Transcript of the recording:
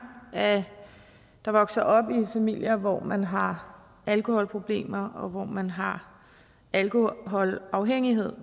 der vokser op i familier hvor man har alkoholproblemer og hvor man har alkoholafhængighed